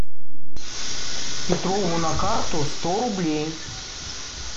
петрову на карту сто рублей